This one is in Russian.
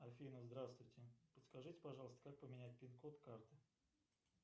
афина здравствуйте подскажите пожалуйста как поменять пин код карты